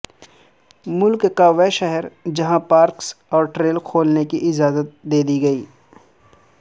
ملک کا وہ شہرجہاں پارکس اور ٹریل کھولنے کی اجازت دیدی گئی